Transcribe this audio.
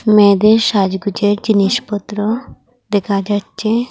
মেয়েদের সাজগোজের জিনিসপত্র দেখা যাচ্ছে।